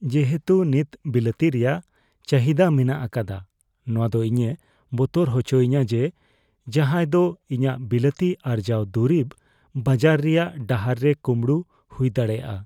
ᱡᱮᱦᱮᱛᱩ ᱱᱤᱛ ᱵᱤᱞᱟᱹᱛᱤ ᱨᱮᱭᱟᱜ ᱪᱟᱹᱦᱤᱫᱟ ᱢᱮᱱᱟᱜ ᱟᱠᱟᱫᱟ, ᱱᱚᱶᱟ ᱫᱚ ᱤᱧᱮ ᱵᱚᱛᱚᱨ ᱦᱚᱪᱚᱧᱟ ᱡᱮ ᱡᱟᱦᱟᱸᱭ ᱫᱚ ᱤᱧᱟᱹᱜ ᱵᱤᱞᱟᱹᱛᱤ ᱟᱨᱡᱟᱣ ᱫᱩᱨᱤᱵ ᱵᱟᱡᱟᱨ ᱨᱮᱭᱟᱜ ᱰᱟᱦᱟᱨ ᱨᱮ ᱠᱩᱢᱲᱩ ᱦᱩᱭ ᱫᱟᱲᱮᱭᱟᱜᱼᱟ ᱾